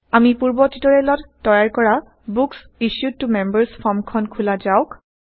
আমি পূৰ্ব টিউটৰিয়েলত তৈয়াৰ কৰা বুক্স ইছ্যুড ত মেম্বাৰ্ছ ফৰ্মখন খোলা যাওক